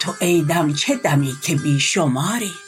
تو ای دم چه دمی که بی شماری